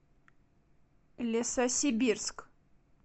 лесосибирск